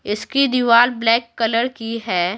इसकी दीवार black colour की है।